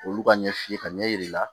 Olu ka ɲɛ f'i ye ka ɲɛ yir'i la